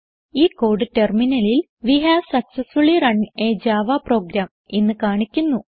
ഈ കോഡ് ടെർമിനലിൽ we have successfully run a Java program എന്ന് കാണിക്കുന്നു